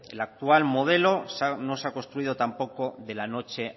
el actual modelo no se ha construido tampoco de la noche